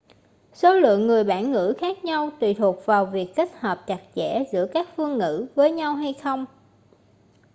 số lượng người bản ngữ khác nhau tùy thuộc vào việc kết hợp chặt chẽ giữa các phương ngữ với nhau hay không